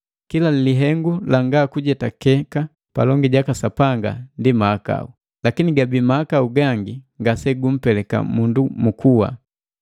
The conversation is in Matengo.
Kila lihengu langa kujetakeka palongi jaka Sapanga ndi mahakau, lakini gabii mahakau gangi ngasegumpeleka mundu mu kuwa.